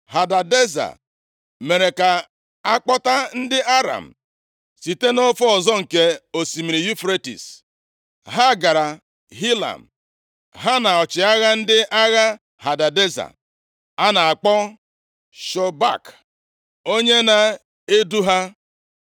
Hadadeza mere ka a kpọta ndị Aram site nʼofe ọzọ nke Osimiri Yufretis. Ha gara Hilam, ha na ọchịagha ndị agha Hadadeza, a na-akpọ Shobak, onye na-edu ha.